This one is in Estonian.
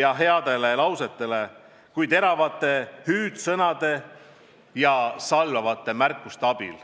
ja heasoovlikele lausetele, mitte teravate hüüdsõnade ja salvavate märkuste abil.